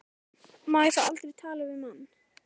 SÓLA: Má ég þá aldrei tala við mann?